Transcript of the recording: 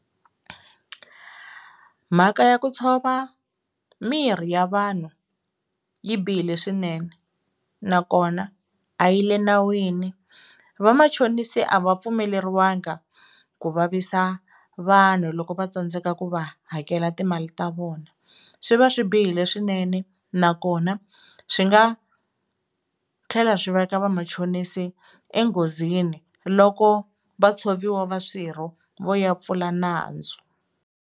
Mhaka ya ku tshova mirhi ya vanhu yi bihile swinene nakona a yi le nawini, vamachonisi a va pfumeleriwanga ku vavisa vanhu loko va tsandzeka ku va hakela timali ta vona, swi va swi bihile swinene nakona swi nga tlhela swi veka vamachonisi enghozini loko va tshoviwa va swirho vo ya pfula nandzu.